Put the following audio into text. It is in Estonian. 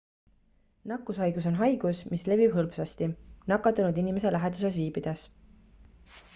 nakkushaigus on haigus mis levib hõlpsasti nakatunud inimese läheduses viibides